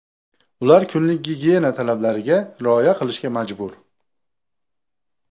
Ular kunlik gigiyena talablariga rioya qilishga majbur.